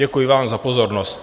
Děkuji vám za pozornost.